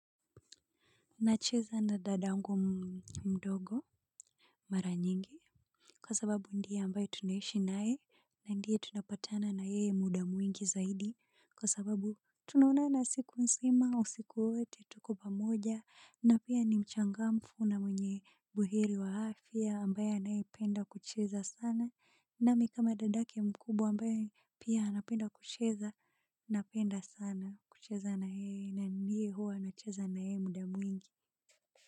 Nacheza na dadangu mdogo. Mara nyingi kwa sababu ndiye ambaye tunaishi nae. Na ndio tunapatana na yeye muda mwingi zaidi. Kwa sababu tunaonana siku nzima usiku wote tuko pamoja. Na pia ni mchangamfu na mwenye buheri wa afya ambaye anayependa kucheza sana. Na mimi kama dadake mkubwa ambaye pia anapenda kucheza. Napenda sana kucheza na yeye na ndiye huwa nacheza na yeye muda mwingi. Kwa hivyo.